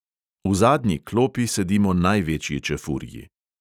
V zadnji klopi sedimo največji čefurji.